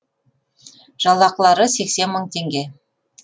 жалақылары сексен мың теңге